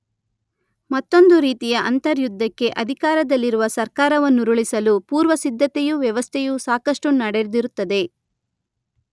ಮತ್ತೊಂದು ರೀತಿಯ ಅಂತರ್ಯುದ್ಧಕ್ಕೆ ಅಧಿಕಾರದಲ್ಲಿರುವ ಸರ್ಕಾರವನ್ನುರುಳಿಸಲು ಪೂರ್ವಸಿದ್ಧತೆಯೂ ವ್ಯವಸ್ಥೆಯೂ ಸಾಕಷ್ಟು ನಡೆದಿರುತ್ತದೆ.